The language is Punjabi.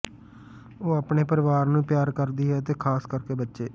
ਉਹ ਆਪਣੇ ਪਰਿਵਾਰ ਨੂੰ ਪਿਆਰ ਕਰਦੀ ਹੈ ਅਤੇ ਖਾਸ ਕਰਕੇ ਬੱਚੇ